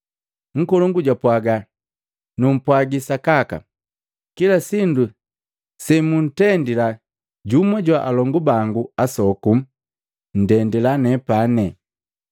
Nkolongu japwaga, Numpwaji sakaka, kila sindu semuntendila jumu jwa alongu bango asoku, nndendila nepani.”